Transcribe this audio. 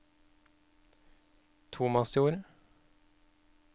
Tomasjord